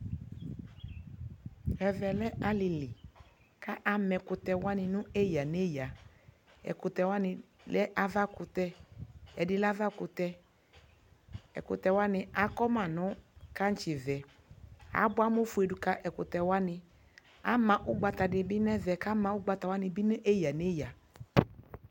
ɛvɛ lɛ alili kʋ amɛ ɛkʋtɛ wani nʋ ɛya ɛya, ɛkʋtɛ wani lɛ aɣa kʋtɛ, ɛdi lɛ aɣa kʋtɛ, ɛkʋtɛ wani akɔ manʋ kankyi vɛ, abʋa amɔ ƒʋɛ ka ɛkʋtɛ wani, ama ɔgbata di nʋ ɛvɛ kʋɔgbata wani lɛ ɛya nʋ ɛya